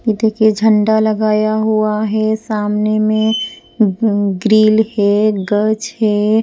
ये देखिए झंडा लगाया हुआ है सामने में ग्रिल है गज है।